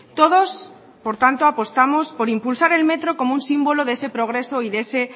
todos por tanto apostamos por impulsar el metro como un símbolo de ese progreso y de ese